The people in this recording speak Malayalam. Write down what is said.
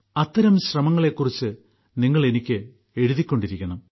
അത്തരം ശ്രമങ്ങളെക്കുറിച്ച് നിങ്ങൾ എനിക്ക് എഴുതിക്കൊണ്ടിരിക്കണം